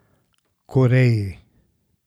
Koreji.